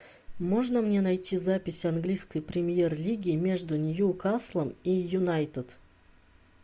можно мне найти запись английской премьер лиги между ньюкаслом и юнайтед